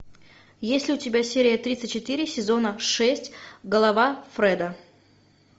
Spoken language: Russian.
есть ли у тебя серия тридцать четыре сезона шесть голова фреда